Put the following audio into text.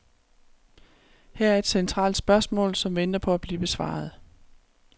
Her er et centralt spørgsmål, som venter på at blive besvaret.